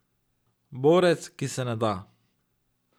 Borec, ki se ne da.